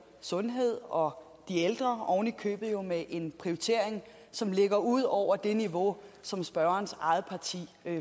sundhed og de ældre ovenikøbet jo med en prioritering som ligger ud over det niveau som spørgerens eget parti